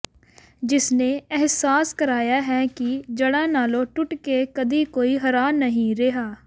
ਜਿਸਨੇ ਅਹਿਸਾਸ ਕਰਾਇਆ ਹੈ ਕਿ ਜੜਾਂ ਨਾਲੋਂ ਟੁੱਟ ਕੇ ਕਦੇ ਕੋਈ ਹਰਾ ਨਹੀ ਰਿਹਾ